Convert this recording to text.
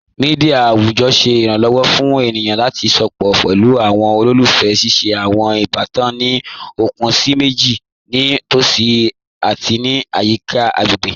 Mẹdia awujọ ṣẹ iranlọwọ fun ènìyàn lati sọpọ̀ pẹ̀lú awọn olólùfẹ́, ṣíṣẹ̀ awọn ìbàtàn ní okun síì mẹjìì ni tosí ati ní ayika agbáyé.